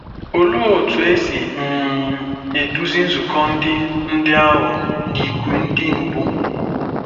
Olee otú e si um eduzi nzukọ ndị ndị ahụ n'ìgwè ndị mbụ?